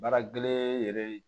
Baara gɛlɛn yɛrɛ ye